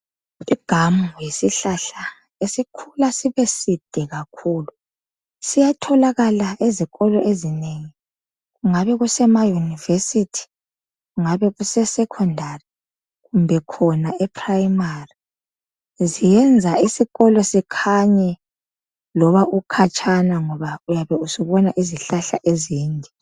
I Gum tree yisihlahla esikhula sibe side kakhulu siyatholakala ezikolo esinengi kakhulu kungabe muse ma University kungabe kuse Secondary kumbe khona eprimary siyenza isikolo sikhanye loba ukhutshana ngoba uyabe usubona izihlahla ezinde